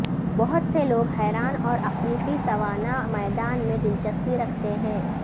بہت سے لوگ حیران اور افریقی سوانا میدان میں دلچسپی رکھتے ہیں